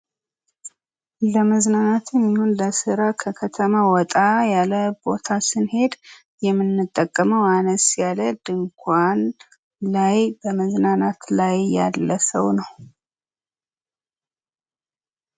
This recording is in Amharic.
ለመዝናናትም ይሁን ለስራ ከተማ ወጣ ያለ ቦታ ስንሄድ የምንጠቀመ አነስ ያለ ድንኳን ላይ በመዝናናት ላይ ያለ ሰው ነው።